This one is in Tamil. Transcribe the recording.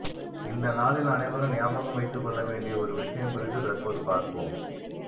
இந்த நாளில் அனைவரும் ஞாபகம் வைத்து கொள்ள வேண்டிய ஒரு விஷயம் குறித்து தற்போது பார்ப்போம்